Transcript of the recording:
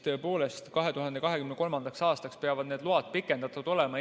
Tõepoolest, 2023. aastaks peavad need load pikendatud olema.